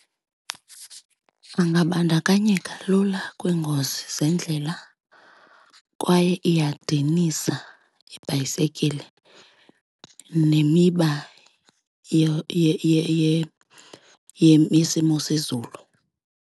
Angabandakanyeka lula kwiingozi zendlela kwaye iyadinisa ibhayisekile nemiba yesimo sezulu.